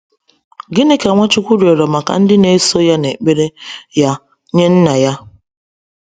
Gịnị ka Nwachukwu rịọrọ maka ndị na-eso ya n’ekpere ya nye Nna ya?